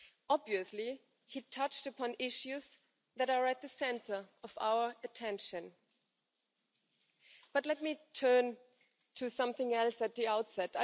Obviously, he touched upon issues that are at the centre of our attention. But let me turn to something else at the outset.